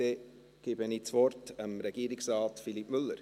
Dann gebe ich das Wort Regierungsrat Philippe Müller.